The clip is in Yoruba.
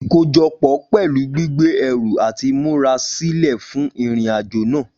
Ikojọpọ pẹlu gbigbe ẹru ati murasilẹ fun irin-ajo naa.